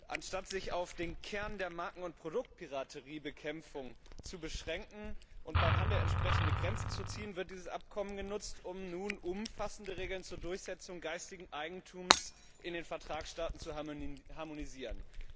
Anstatt sich auf den Kern der Marken und Produktpirateriebekämpfung zu beschränken und beim Handel entsprechende Grenzen zu ziehen, wird dieses Übereinkommen genutzt, um nun umfassende Regeln zur Durchsetzung geistigen Eigentums in den Vertragsstaaten zu harmonisieren.